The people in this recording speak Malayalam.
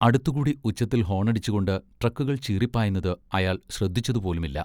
അടുത്തുകൂടി ഉച്ചത്തിൽ ഹോണടിച്ചുകൊണ്ട് ട്രക്കുകൾ ചീറിപ്പായുന്നത് അയാൾ ശ്രദ്ധിച്ചതുപോലുമില്ല.